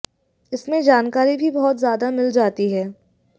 इसमें जानकारी भी बहुत ज़्यादा मिल जाती है